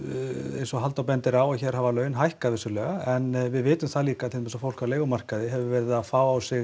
eins og Halldór bendir á hér hafa laun hækkað vissulega en við vitum líka að til dæmis fólk á leigumarkaði hefur verið að fá á sig